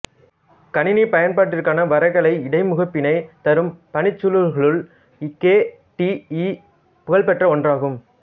கணினி பயன்பாட்டிற்கான வரைகலை இடைமுகப்பினை தரும் பணிச்சூழல்களுள் கே டீ ஈ புகழ்பெற்ற ஒன்றாகும்